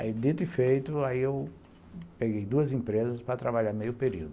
Aí, dito e feito, aí eu peguei duas empresas para trabalhar meio período.